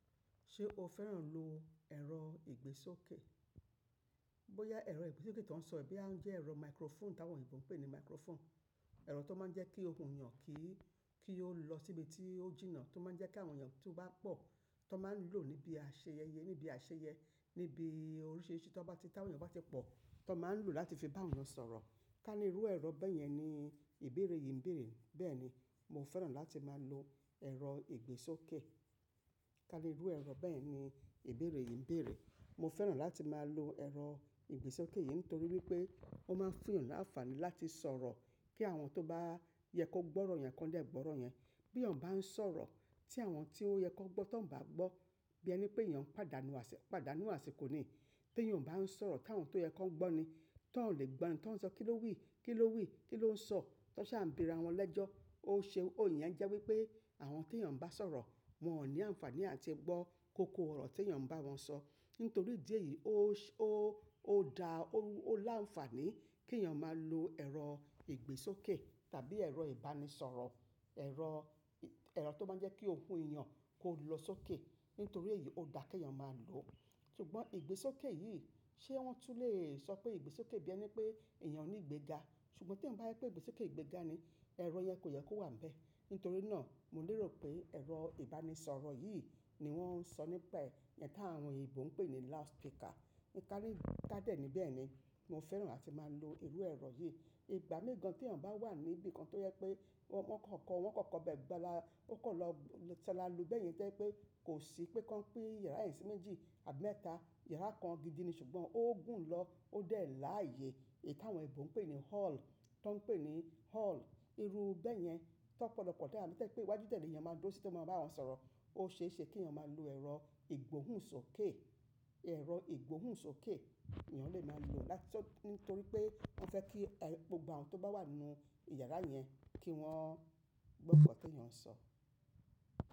Ṣé o fẹ́ràn lo ẹ̀rọ ìgbésókè? Bóyá ẹ̀rọ ìgbésókè tó ń sọ bí a ń jẹ́ ẹ̀rọ microphone táwọn òyìnbó ń pè ní microphone. Ẹ̀rọ tó máa ń jẹ́ kí òkun èyàn kí i, kí ó lọ síbi tí ó jìnnà tó máa ń jẹ́ kí àwọn èyàn tó bá pọ̀ tó máa ń lò níbi àṣeyẹyẹ, níbi àṣeyẹ, níbi oríṣìíríṣìí tó bá ti táwọn èyàn bá ti pọ̀ tó máa ń lò láti fi bá wọn sọ̀rọ̀. Tá ní irú ẹ̀rọ bẹ́yẹn ni ìbéèrè yìí ń bèèrè. Bẹ́ẹ̀ni, mo fẹ́ràn láti máa lo ẹ̀rọ ìgbésókè. Tá ní irú ẹ̀rọ bẹ́ẹ̀ ni ìbéèrè yìí ń bèèrè. Mo fẹ́ràn láti máa lo ẹ̀rọ ìgbésókè yìí nítorí wípé ó máa ń fún èyàn láàfàní láti sọ̀rọ̀ kí àwọn tó bá yẹ kó gbọ́ ọ̀rọ̀ yẹn kọ́ le gbọ́ ọ̀rọ̀ yẹn. Bí èyàn bá ń sọ̀rọ̀ tí àwọn tí ó yẹ kó gbọ́ tó ń bà á gbọ́ bí ẹni pé èyàn padà nu àsè, padà nu àsè kò ní. Tí èyàn bá ń sọ̀rọ̀ táwọn tó yẹ kó gbọ́ ni, tó lè gbọ́ ẹni tó ń sọ kí ló wí, kí ló wí, kí ló ń sọ, tó ṣa ń bèèrè àwọn ẹlẹ́jọ́. Ó ṣe iyìn jẹ́ wípé àwọn tí èyàn bá sọ̀rọ̀ wọn ò ní àǹfàní àti gbọ́ koko ọ̀rọ̀ tí èyàn bá wọn sọ. Nítorí ìdí èyí ó, ó, ó da, ó láǹfààní kí èyàn máa lo ẹ̀rọ ìgbésókè tàbí ẹ̀rọ ìbánisọ̀rọ̀. Ẹ̀rọ, ẹ̀rọ tó máa ń jẹ́ kí òkun èyàn kó lọ sókè. Nítorí èyí ó da kí èyàn máa lòó. Ṣùgbọ́n ìgbésókè yìí ṣé wọ́n tún lè sọ pé ìgbésókè bí ẹni pé èyàn ò ní ìgbéga. Ṣùgbọ́n tí wọ́n bá yipé ìgbésókè ìgbéga ni, ẹ̀rọ yẹn kò yẹ kó wà níbẹ̀. Nítorí náà mo lérò pé ẹ̀rọ ìbánisọ̀rọ̀ yìí ni wọ́n ń sọ nípa ẹ̀ yẹn táwọn òyìnbó ń pè ní loudspeaker. Ni ká ní ká dè ní bẹ́ẹ̀ ni, mo fẹ́ràn láti máa lo irú ẹ̀rọ yìí. Ìgbà mégan tí èyàn bá wà níbi kan tó yẹ pé wọn, wọn kò kọ́, wọn kò kọ́bẹ̀ẹ́ gbáa la, ó kò lọ saala lu bẹ́yẹn tó jẹ́ pé kò sí pí kan pin yàrá yen si méjì tàbí mẹ́ta. Yàrá kan gidi ni ṣùgbọ́n ó gùn ún lọ, ó dè láààyè èyí táwọn òyìnbó ń pè ní hall. Tón pè ní hall. Iru bẹ́yẹn tó pọlọpọ̀ díẹ̀ àbí tẹ́ pé iwájú tẹ́lẹ̀ ni èyàn máa dúró sí tó máa bá wọn sọ̀rọ̀. Ó ṣe é ṣe kí èyàn máa lo ẹ̀rọ ìgbóhùnsókè. Ẹ̀rọ ìgbóhùnsókè èyàn lè máa lò láti tọ nítorí pé wọ́n fẹ́ kí gbogbo àwọn tó bá wà nínú yàrá yẹn kí wọ́n gbọ́ gbogbo ọ̀rọ̀ tí èyàn ń sọ.